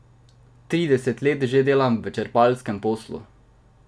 Trideset let že delam v črpalkarskem poslu.